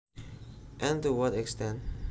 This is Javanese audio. and to what extent